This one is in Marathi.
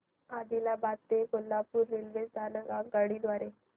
आदिलाबाद ते कोल्हापूर रेल्वे स्थानक आगगाडी द्वारे